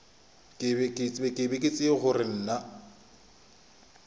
ga ke tsebe gore na